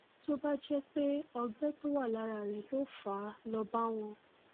tó bá jẹ pé ọgbẹ tó wà lára rẹ ló fà á lọ bá wọn